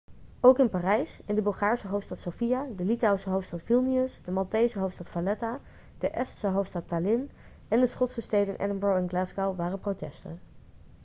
ook in parijs in de bulgaarse hoofdstad sofia de litouwse hoofdstad vilnius de maltese hoofdstad valetta de estse hoofdstad tallinn en de schotse steden edinburgh en glasgow waren protesten